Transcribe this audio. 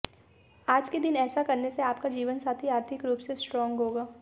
आज के दिन ऐसा करने से आपका जीवनसाथी आर्थिक रूप से स्ट्रांग होगा